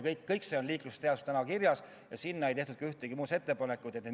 Kõik see on liiklusseaduses kirjas ja selle kohta ei tehtud ühtegi muudatusettepanekut.